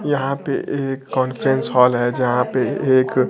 यहां पे एक कांफ्रेंस हाल है यहां पे एक--